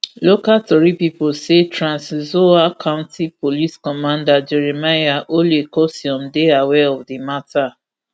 local tori pipo say trans nzoia county police commander jeremiah ole kosiom dey aware of di matter